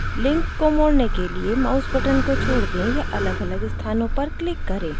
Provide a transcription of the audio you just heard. link को मोड़ने के लिए माउस बटन को छोड़ दें या अलगअलग स्थानों पर क्लिक करें